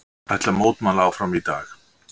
Ætla að mótmæla áfram í dag